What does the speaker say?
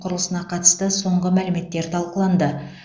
құрылысына қатысты соңғы мәліметтер талқыланды